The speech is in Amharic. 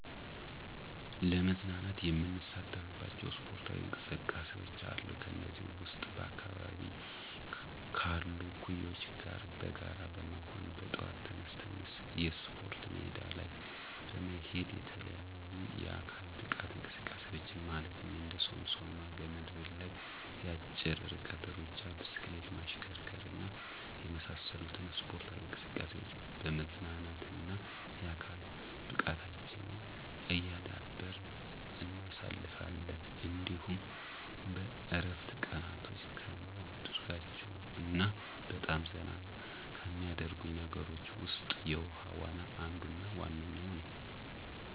ለመዝናናት የምሳተፍባቸው ስፖርታዊ እንቅስቃሴዎች አሉ። ከነዚህም ውስጥ በአካባቢየ ካሉ እኩዮቸ ጋር በጋራ በመሆን በጠዋት ተነስተን የስፖርት ሜዳ ላይ በመሄድ የተለያዩ የአካል ብቃት እንቅስቃሴዎችን ማለትም እንደ ሶምሶማ፣ ገመድ ዝላይ፣ የአጭር ርቀት ሩጫ፣ ብስክሌት ማሽከርከር እና የመሳሰሉትን ስፖርታዊ እንቅስቃሴዎች በመዝናናትና የአካል ብቃታችንን እያዳበርን እናሳልፋለን። እንዲሁም በእረፍት ቀናቶቸ ከማደርጋቸው እና በጣም ዘና ከሚያደርጉኝ ነገሮች ውስጥ የውሀ ዋና አንዱና ዋነኛው ነዉ።